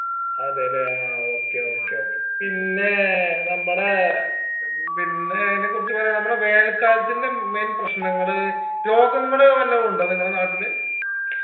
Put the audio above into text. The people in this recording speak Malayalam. അതെല്ലേ ആ okay okay okay പിന്നേ നമ്മടേ പിന്നെ അയിനെ കുറച്ച് പറയാൻ നമ്മടെ വേനൽ കാലത്തിന്റെ main പ്രശ്നങ്ങൾ രോഗങ്ങള് വല്ലോ ഉണ്ടോ നിങ്ങള നാട്ടിൽ